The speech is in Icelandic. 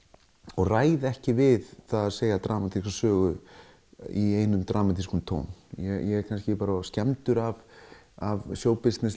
og ræð ekki við að segja dramatíska sögu í einum dramatískum tón ég er of skemmdur af af showbusiness